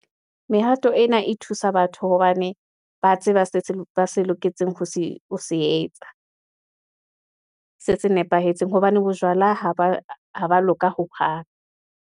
Mehato ena e thusa batho, hobane ba tseba se loketseng, ho se etsa se nepahetseng, hobane bojwala ha ba loka hohang.